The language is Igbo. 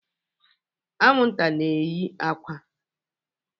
Anwụnta na-eye akwa.